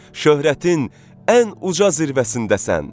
Şöhrətin ən uca zirvəsindəsən.